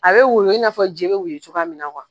A bɛ woyo in f'a jee bɛ woyo cogoya mina